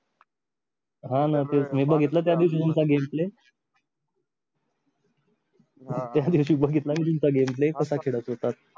हो न तेच मी बघितला त्या दिवशी तुमचा gameplay त्या दिवशी बघितला मी तुमचा गेमप्ले कसा खेळत होतात